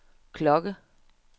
klokke